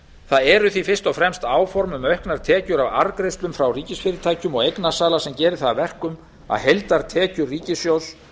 það eru því fyrst og fremst áform um auknar tekjur af arðgreiðslum frá ríkisfyrirtækjum og eignasala sem gera það verkum að heildartekjur ríkissjóðs